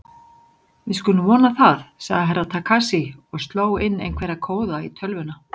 Við skulum vona það, sagði Herra Takashi og sló inn einhverja kóða í tölvuna.